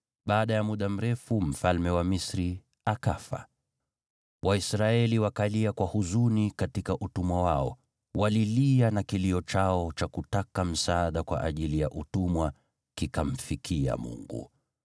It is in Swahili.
Baada ya muda mrefu, mfalme wa Misri akafa. Waisraeli wakalia kwa huzuni katika utumwa wao, walilia na kilio chao cha kutaka msaada kwa ajili ya utumwa kikamfikia Mungu.